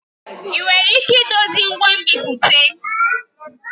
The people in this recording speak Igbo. Ị nwere ike idozi ngwa nbipute?